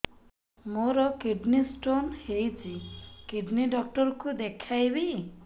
ମୋର kidney stone ହେଇଛି kidney doctor କୁ ଦେଖାଇବି